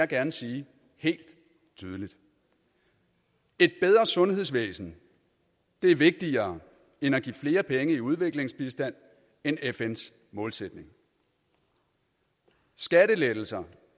gerne sige helt tydeligt et bedre sundhedsvæsen er vigtigere end at give flere penge i udviklingsbistand end fns målsætning skattelettelser